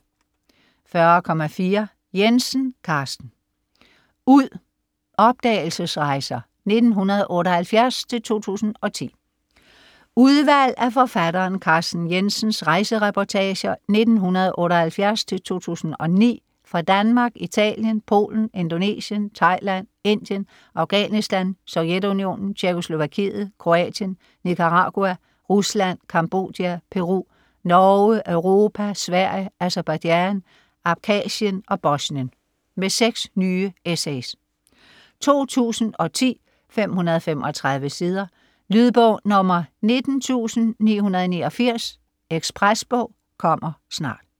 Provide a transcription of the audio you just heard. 40.4 Jensen, Carsten: Ud: opdagelsesrejser 1978-2010 Udvalg af forfatteren Carsten Jensens rejsereportager 1978-2009 fra Danmark, Italien, Polen, Indonesien, Thailand, Indien, Afghanistan, Sovjetunionen, Tjekkoslovakiet, Kroatien, Nicaragua, Rusland, Cambodja, Peru, Norge, Europa, Sverige, Aserbajdsjan, Abkhazien og Bosnien. Med seks nye essays. 2010, 535 sider. Lydbog 19989 Ekspresbog - kommer snart